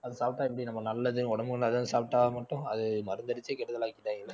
அதை சாப்பிட்டா எப்படி நம்ம நல்லது உடம்புக்கு நல்லது சாப்பிட்டா மட்டும் அது மருந்து அடிச்சு கெடுதல் ஆக்கிடாங்க